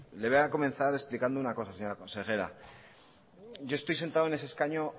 le voy a comenzar explicando una cosa señora consejera yo estoy sentado en ese escaño